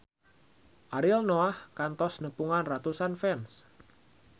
Ariel Noah kantos nepungan ratusan fans